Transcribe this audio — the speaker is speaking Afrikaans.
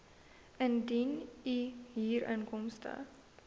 indien u huurinkomste